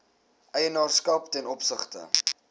eienaarskap ten opsigte